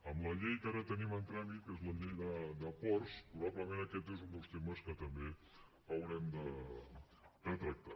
en la llei que ara tenim en tràmit que és la llei de ports probablement aquest és un dels temes que també haurem de tractar